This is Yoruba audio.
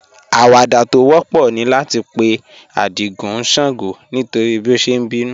Àwàdà tó wọ̀pọ̀ ní láti pè̩ Ádìgún ṣàngó nítorí bí ó ṣé n bínú